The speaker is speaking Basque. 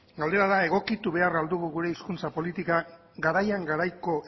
galdera da egokitu behar al dugu gure hizkuntza politika garaian garaiko